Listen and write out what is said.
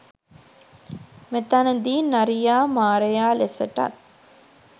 මෙතැනදී නරියා මාරයා ලෙසටත්